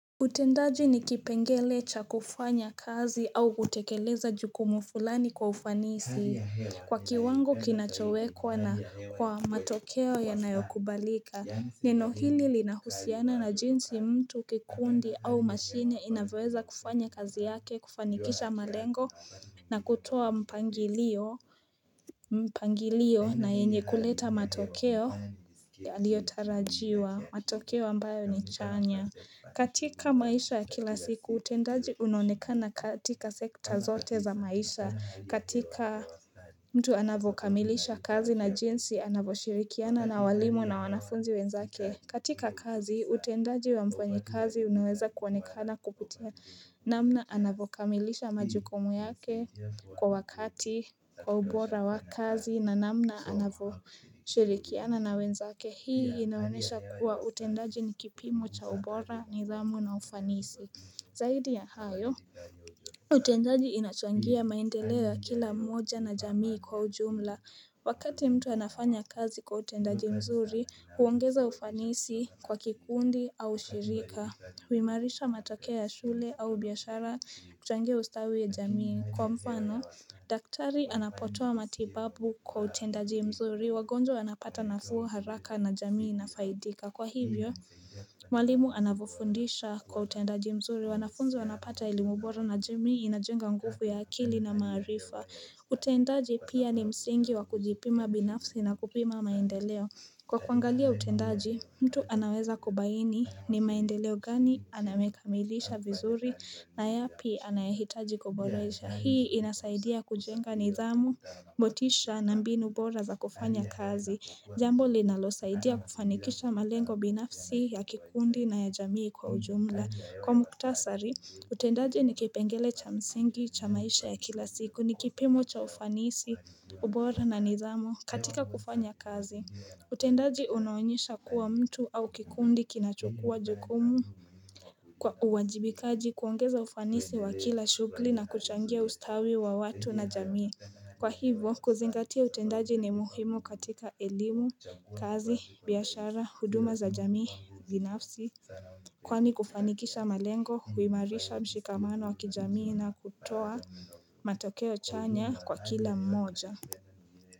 Utendaji ni kipengele cha kufanya kazi au kutekeleza jukumu fulani kwa ufanisi kwa kiwango kinachowekwa na kwa matokeo yanayokubalika Nino hili linahusiana na jinsi mtu kikundi au mashine inavyoweza kufanya kazi yake kufanikisha malengo na kutoa mpangilio mpangilio na yenye kuleta matokeo yaliyotarajiwa matokeo ambayo ni chanya katika maisha ya kila siku, utendaji unaonikana katika sekta zote za maisha mtu anavyokamilisha kazi na jinsi, anavyoshirikiana na walimu na wanafunzi wenzake katika kazi, utendaji wamfanyikazi, unaweza kuonekana kukupitia namna anavyokamilisha majukumu yake kwa wakati kwa ubora wa kazi na namna shirikiana na wenzake hii inanyesha kuwa utendaji ni kipimo cha ubora nidhamu na ufanisi Zaidi ya hayo utendaji inachangia maendeleo ya kila moja na jamii kwa ujumla Wakati mtu anafanya kazi kwa utendaji mzuri huongeza ufanisi kwa kikundi au shirika huimarisha matokeo ya shule au biashara huchangia ustawi ya jamii Kwa mfano daktari anapotoa matibabu kwa utendaji mzuri, wagonjwa wanapata nafuu haraka na jamii inafaidika Kwa hivyo, walimu anavyofundisha kwa utendaji mzuri, wanafunzi wanapata elimu boro na jamii inajenga nguvu ya akili na maarifa utendaji pia ni msingi wa kujipima binafsi na kupima maendeleo Kwa kuangalia utendaji, mtu anaweza kubaini ni maendeleo gani amekamilisha vizuri na yapi anayahitaji kuboresha Hii inasaidia kujenga nidhamu, motisha na mbinu bora za kufanya kazi Jambo linalosaidia kufanikisha malengo binafsi ya kikundi na ya jamii kwa ujumla Kwa muktasari, utendaji ni kipengele cha msingi, cha maisha ya kila siku, ni kipimo cha ufanisi, ubora na nidhamu katika kufanya kazi utendaji unaonyesha kuwa mtu au kikundi kinachukua jukumu Kwa uwajibikaji kuongeza ufanisi wa kila shughuli na kuchangia ustawi wa watu na jamii Kwa hivo kuzingatia utendaji ni muhimu katika elimu, kazi, biashara, huduma za jamii, binafsi Kwani kufanikisha malengo, huimarisha mshikamano wa kijamii na kutoa matakeo chanya kwa kila mmoja.